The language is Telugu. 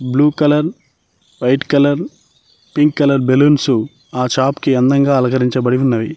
Blue colour white colour pink colour balloons ఆ షాప్ కి అందంగా అలంకరించబడి ఉన్నవి.